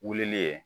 Wulili ye